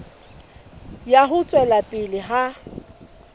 ya ho tswela pele ha